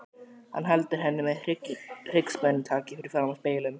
Hann heldur henni með hryggspennutaki fyrir framan spegilinn.